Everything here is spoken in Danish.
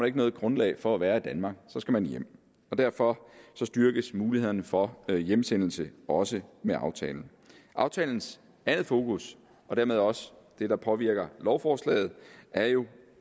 ikke noget grundlag for at være i danmark så skal man hjem og derfor styrkes mulighederne for hjemsendelse også med aftalen aftalens andet fokus og dermed også det der påvirker lovforslaget er jo